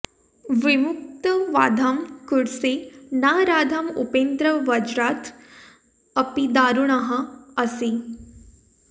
विमुक्त बाधाम् कुरुषे न राधाम् उपेन्द्र वज्रात् अपि दारुणः असि